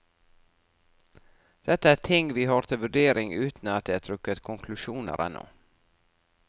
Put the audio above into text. Dette er ting vi har til vurdering uten at det er trukket konklusjoner ennå.